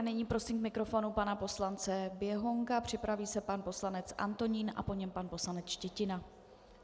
A nyní prosím k mikrofonu pana poslance Běhounka, připraví se pan poslanec Antonín a po něm pan poslanec Štětina.